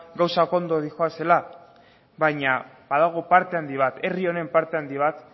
gauzak ondo doazela baina badago parte handi bat herri honen parte handi bat